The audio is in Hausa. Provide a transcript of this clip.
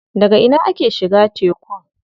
Daga ina ake shiga tekun?